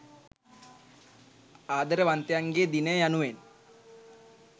ආදරවන්තයන්ගේ දිනය යනුවෙන්